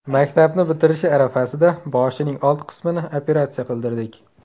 Maktabni bitirishi arafasida boshining old qismini operatsiya qildirdik.